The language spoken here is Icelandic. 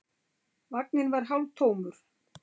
Vagninn var hálftómur.